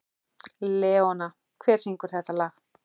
Leóna, hver syngur þetta lag?